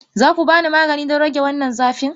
Za ku ba ni magani don rage wannan zafin?